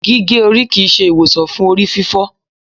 gige ori kii ṣe iwosan fun orififo